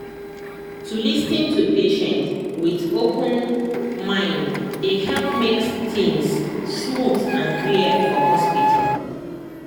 to lis ten to patient with open mind dey help make things smooth and clear for hospital.